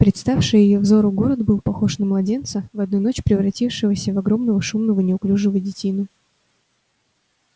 представший её взору город был похож на младенца в одну ночь превратившегося в огромного шумного неуклюжего детину